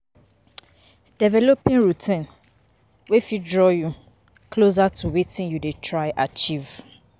Developing routines wey fit draw you closer to wetin you dey try achieve